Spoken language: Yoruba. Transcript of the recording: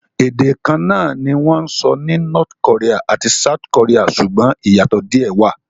Ède kan náà ni wọ́n sọ ní North Korea àti South Korea, ṣùgbọ́n ìyàtò díè wà.